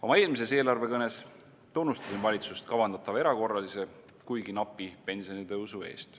Oma eelmises eelarvekõnes tunnustasin valitsust kavandatava erakorralise, kuigi napi pensionitõusu eest.